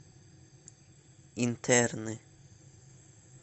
интерны